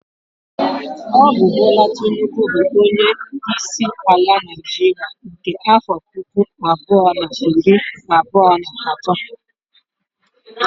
Ọ bụ Bola Tinubu bụ onyeisi ala Naịjiria nke afọ puku abụọ na iri abụọ na atọ